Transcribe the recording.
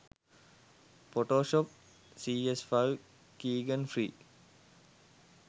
photoshop cs5 keygen free